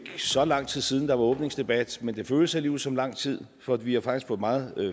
så lang tid siden der var åbningsdebat men det føles alligevel som lang tid for vi har faktisk fået meget